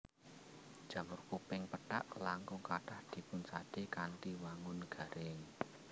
Jamur kuping pethak langkung kathah dipunsadé kanthi wangun garing